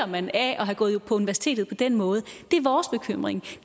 man af at have gået på universitetet på den måde